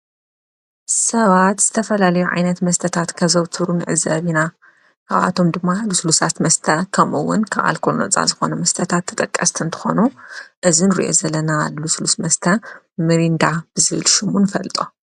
ሰባት ዝተፈላልዩ ዓይነት መስተታት ከዘውትሩን ንዕዘብ ኢና፡፡ ከብኣቶም ድማ ሉስሉሳት መስተ ኸምኡውን ካብ ኣልኮል ነፃ ዝኾነ መስተታት ተጠቀስቲ እንተኾኑ እዚ ንሪኦ ዘለና ልስሉስ መስተ ሚርንዳ ብዝል ሹሙ ንፈልጦ፡፡